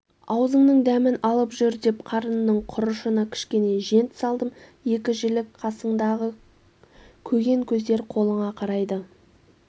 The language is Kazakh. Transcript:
аузыңның дәмін алып жүр деп қарынның құрышына кішкене жент салдым екі жілік қасыңдағы көгенкөздер қолыңа қарайды